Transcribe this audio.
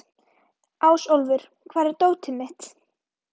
Ásólfur, hvar er dótið mitt?